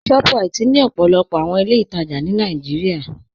ShopRite ni òpó̩lópó̩ àwọn ilẹ̀-itaja ní Nàìjíríà.